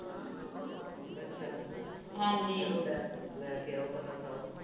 ਅੱਛਾ ਹਾਂਜੀ ਲੈ ਕੇ ਆਓ ਪਤਾ ਸਬ ਕੁਛ